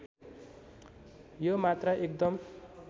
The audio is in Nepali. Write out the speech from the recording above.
यो मात्रा एकदम